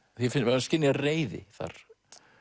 maður skynjar reiði þar